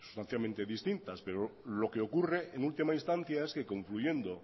sustancialmente distintas pero lo que ocurre en última instancia es que concluyendo